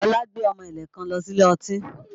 Ọlá gbé ọmọ ẹ̀lẹ̀ kan lọ sí ilé ọtí